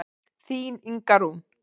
Þín Inga Rún.